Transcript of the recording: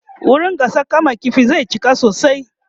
wurin gasar kama ƙifin zai cika sosai